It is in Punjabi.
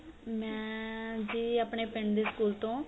ਮੈਂ ਜੀ ਆਪਣੇ ਪਿੰਡ ਦੇ school ਤੋਂ